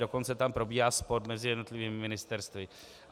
Dokonce tam probíhá spor mezi jednotlivými ministerstvy.